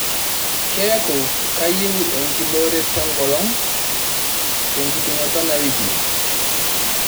keeku kayieu enkibooret enkolong' tenkiting'oto enawiki